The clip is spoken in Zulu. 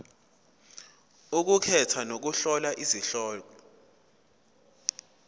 ukukhetha nokuhlola izihloko